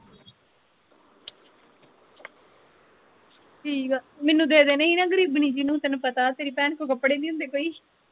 ਠੀਕ ਆ ਮੈਨੂੰ ਦੇ ਦੇਣੇ ਸੀ ਨਾ ਗਰੀਬਣੀ ਜੀ ਨੂੰ ਤੈਨੂੰ ਪਤਾ ਤੇਰੀ ਭੈਣ ਕੋ ਕਪੜੇ ਨਹੀਂ ਹੁੰਦੇ ਕੋਈ।